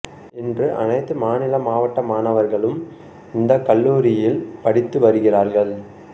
இன்று அனைத்து மாநில மாவட்ட மாணவர்களும் இந்தக் கல்லூரியில் படித்து வருகிறார்கள்